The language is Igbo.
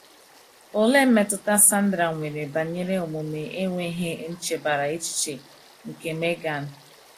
Olee mmetụta Sandra nwere banyere omume enweghị nchebara echiche nke Megan?